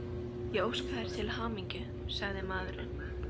Ég óska þér til hamingju, sagði maðurinn.